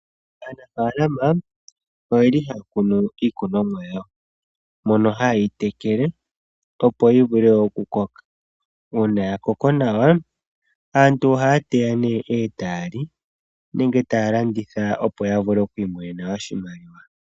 Aanafalama oye li haya kunu iikunomwa yawo, mono haye yi tekele opo yi vule okukoka. Uunaya koko nawa, aantu ohaya teya nee e taya li nenge taya landitha opo ya vule oku imonena oshimaliwa.